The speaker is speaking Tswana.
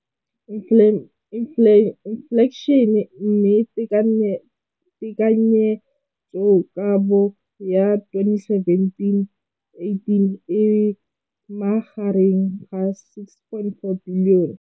Infleišene, mme tekanyetsokabo ya 2017, 18, e magareng ga R6.4 bilione.